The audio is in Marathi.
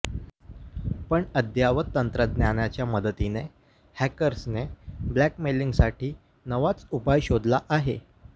पण अद्ययावत तंत्रज्ञानाच्या मदतीने हॅकर्सने ब्लॅकमेलिंगसाठी नवाच उपाय शोधला आहे